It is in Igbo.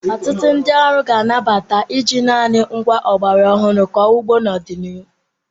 Ọtụtụ ndị ọrụ ga-anabata iji naanị ngwá ọgbara ọhụrụ kọọ ugbo n'ọdịnihu.